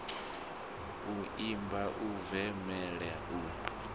u imba u bvumela u